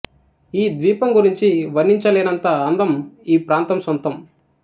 ఈ ద్వీపం గురించి వర్ణించలేనంత అందం ఈ ప్రాంతం సొంతం